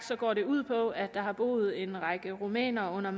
går de ud på at der har boet en række rumænere under